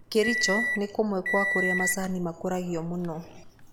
Kericho nĩkũmũe gwa kũrĩa macani makũragio mũno